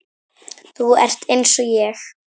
Þú ert einsog ég.